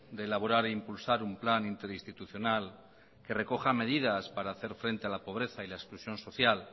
de elaborar e impulsar un plan interinstitucional que recoja medidas para hacer frente a la pobreza y la exclusión social